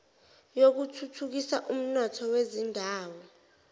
yokuthuthukisa umnotho wezindawo